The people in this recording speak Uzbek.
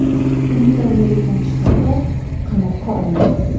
Uni davolagan shifokor qamoqqa olingan.